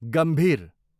गम्भीर